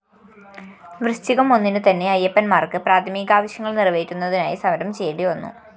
വൃശ്ചികം ഒന്നിനു തന്നെ അയ്യപ്പന്‍മാര്‍ക്ക് പ്രാഥമികാവശ്യങ്ങള്‍ നിറവേറ്റുന്നതിനായി സമരം ചെയ്യേണ്ടിവന്നു